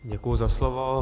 Děkuji za slovo.